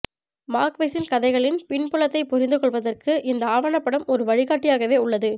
மார்க்வெஸின் கதைகளின் பின்புலத்தைப் புரிந்து கொள்வதற்கு இந்த ஆவணப்படம் ஒரு வழிகாட்டியாகவே உள்ளது